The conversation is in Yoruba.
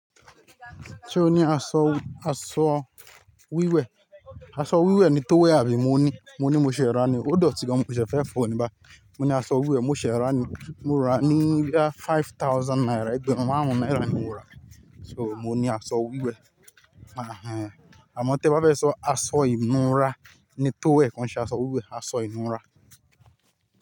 Ṣé o ní aṣọ, aṣọ wíwẹ̀? Aṣọ wíwẹ̀ ni Towel àbí mo ní? Mo ní, mo ní mo ṣẹ̀ rà á ni. Ó dọ̀tí gan mo ṣẹ̀ẹ̀ fẹ́ fò ọ ní báì. Mo ní aṣọ wíwẹ̀ mo ṣe rà á ni. Mo rà á ní bí i à five thousand naira, ẹgbẹ̀run márùn-ún náírà ni mo rà á. So mo ní aṣọ wíwẹ̀. Àhń. Àmọ́ tí ẹ bá fẹ́ sọ aṣọ ìnura ni Towel kò ń ṣe aṣọ wíwẹ̀, aṣọ ìnura.